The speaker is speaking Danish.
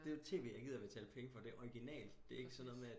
Det er jo tv jeg gider betale penge for det er jo orginalt